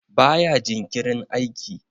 baya jinkirin aiki?